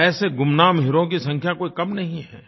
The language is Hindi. और ऐसे गुमनाम हीरोज की संख्या कोई कम नहीं है